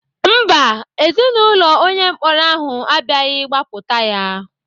Mba, Ezinaụlọ onye mkpọrọ ahụ abịaghị gbapụta ya.